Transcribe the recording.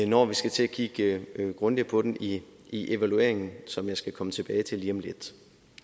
når vi skal til at kigge grundigere på den i i evalueringen som jeg skal komme tilbage til lige om lidt